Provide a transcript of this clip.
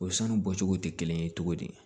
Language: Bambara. O sanu bɔcogo tɛ kelen ye cogo di